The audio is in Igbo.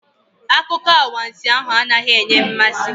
Akụkọ anwansi ahụ anaghị enye mmasị.